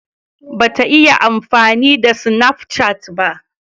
Ba ta iya amfani da sinafcat ba